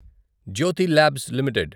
Jyothi labs limited